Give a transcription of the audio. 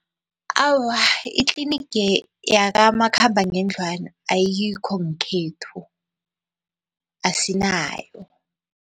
Awa, itliniga yakamakhambangendlwana ayikho ngekhethu, asinayo.